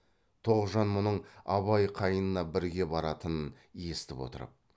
тоғжан мұның абай қайнына бірге баратынын естіп отырып